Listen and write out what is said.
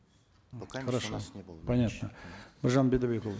хорошо понятно біржан бидайбекұлы